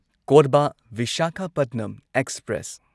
Korba Visakhapatnam express